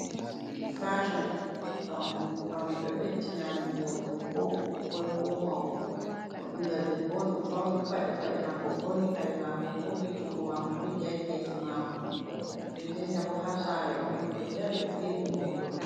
Fason pawne, pawne ɗo ɓɗɗina amin voɗugo, ko ɓukkoi, ko mauɓe. Ɗo ɓingal ɗeɓɓo on. Ɗo fauni paɗi paɗe mako, ɓorni kare mako, hosi jungo mako joggi ha kesi mako. Nɗeɗɗenta ɓo ha sare on. Oɗo ɗari ɓe filmi mo hoto.